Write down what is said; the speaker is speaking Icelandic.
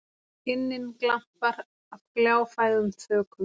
inninn glampar af gljáfægðum þökum.